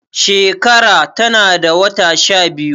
shekara tana da wata shabiyu